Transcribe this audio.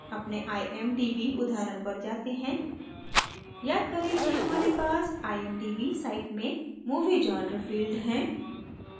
अपने imdb उदाहरण पर जाते हैं याद करें कि हमारे पास imdb साइड में movie genre field है